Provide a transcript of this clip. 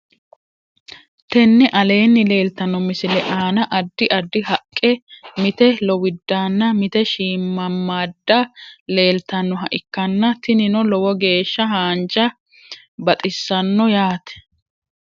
Tenne aleenni leeltanno misile aana addi addi haqqe mite lowidaanna mite shiimamaadda leeltannoha ikkanna tinino lowo geeshsha haanja baxisanno yaate